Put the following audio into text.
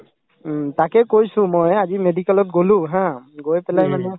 উম, তাকে কৈছো মই আজি medical ত গলো ha গৈ পেলাই মানে